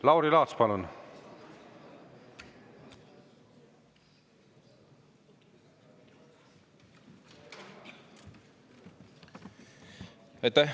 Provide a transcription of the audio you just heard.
Lauri Laats, palun!